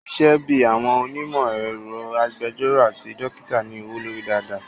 Isẹ́ bíi àwọn onímọ̀ ẹ̀rọ, agbẹjọ́rọ̀ àti dókítà ní owó lórí dáadáa